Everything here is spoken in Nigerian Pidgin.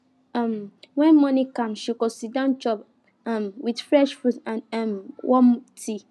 um when morning calm she go siddon chop um with fresh fruit and um warm tea